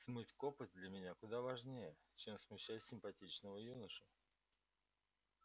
смыть копоть для меня куда важнее чем смущать симпатичного юношу